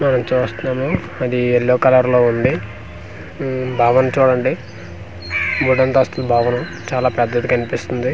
మనం చూస్తున్నాము అది ఎల్లో కలర్ లో ఉంది ఊ భవన్ చూడండి మూడు అంతస్తుల భవనం చాలా పెద్దది కనిపిస్తుంది.